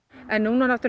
núna